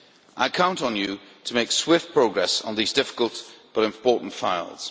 I count on you to make swift progress on these difficult but important issues.